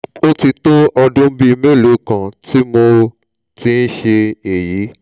ó ti tó ọdún bíi mélòó kan tí mo ti ń ṣe èyí